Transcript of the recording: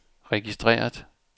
registreret